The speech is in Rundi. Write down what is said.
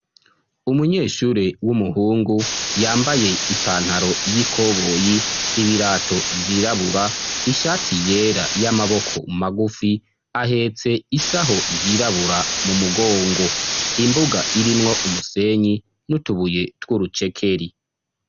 Umunyeshure w'umuhungu yambaye ipantaro y'ikoboyi ibirato vyirabura ishati yera y'amaboko magufi ahetse isaho yirabura mu mugongo, imbuga irimwo umusenyi n'utubuye tw'urucekeri.